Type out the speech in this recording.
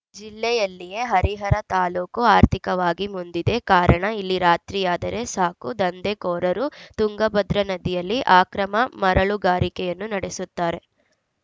ಜಿಲ್ಲೆಯಲ್ಲಿಯೇ ಹರಿಹರ ತಾಲೂಕು ಆರ್ಥಿಕವಾಗಿ ಮುಂದಿದೆ ಕಾರಣ ಇಲ್ಲಿ ರಾತ್ರಿಯಾದರೆ ಸಾಕು ದಂಧೆಕೋರರು ತುಂಗಭದ್ರಾ ನದಿಯಲ್ಲಿ ಆಕ್ರಮ ಮರಳುಗಾರಿಕೆಯನ್ನು ನಡೆಸುತ್ತಾರೆ